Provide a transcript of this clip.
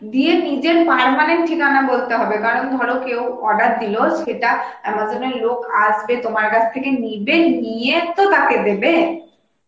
দিয়ে নিজের permanent ঠিকানা বলতে হবে কারণ ধর কেউ order দিল সেটা Amazon এর লোক আসবে তোমার কাছ থেকে নিবে, নিয়ে তো তাকে দেবে